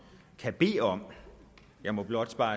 kan bede om jeg må blot